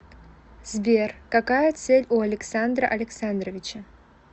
сбер какая цель у александра александровича